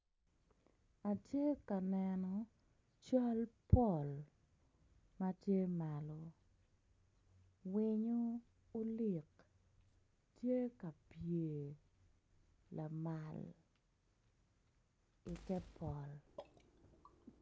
Atye ka neno cal pol matye malo winyo olik tye ka pye lamal ite pol